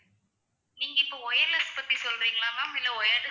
நீங்க இப்போ wireless பத்தி சொல்றீங்களா ma'am இல்ல wired அ